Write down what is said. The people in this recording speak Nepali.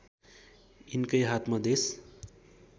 यिनकै हातमा देश